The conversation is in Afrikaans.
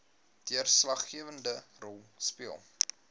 deurslaggewende rol speel